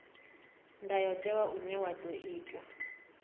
ndayotewa une wa ḓo itwa